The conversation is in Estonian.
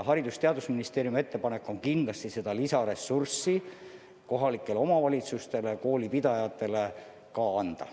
Haridus- ja Teadusministeeriumi ettepanek on kindlasti seda lisaressurssi kohalikele omavalitsustele ja koolipidajatele ka anda.